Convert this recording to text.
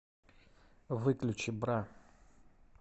выключи бра